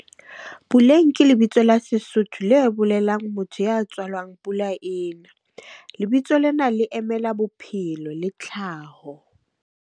Puleng ke lebitso la Sesotho le bolelang motho ya tswalwang pula e na. Lebitso lena le emela bophelo le tlhaho.